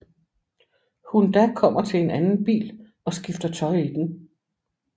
Hun da kommer til en anden bil og skifter tøj i den